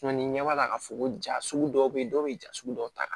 ni ɲɛ b'a la k'a fɔ ko ja sugu dɔw be yen dɔw be ja sugu dɔw ta